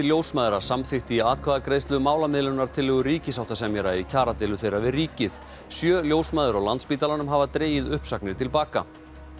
ljósmæðra samþykkti í atkvæðagreiðslu málamiðlunartillögu ríkissáttasemjara í kjaradeilu þeirra við ríkið sjö ljósmæður á Landspítalanum hafa dregið uppsagnir til baka